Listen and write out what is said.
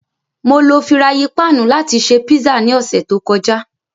Mó ló firạyin pạ̀nnu làti ṣe pizza ni ọsẹ to kọja.